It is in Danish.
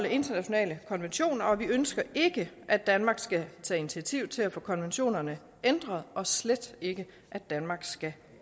internationale konventioner og vi ønsker ikke at danmark skal tage initiativ til at få konventionerne ændret og slet ikke at danmark skal